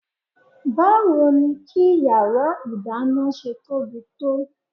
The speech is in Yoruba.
Báwo ni kí yàrá ìdáná ṣe tóbi tó?